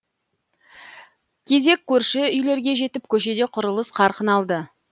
кезек көрші үйлерге жетіп көшеде құрылыс қарқын алды